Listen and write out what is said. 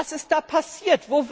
Was ist da passiert?